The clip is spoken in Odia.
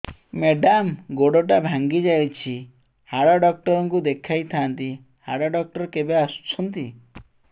ମେଡ଼ାମ ଗୋଡ ଟା ଭାଙ୍ଗି ଯାଇଛି ହାଡ ଡକ୍ଟର ଙ୍କୁ ଦେଖାଇ ଥାଆନ୍ତି ହାଡ ଡକ୍ଟର କେବେ ଆସୁଛନ୍ତି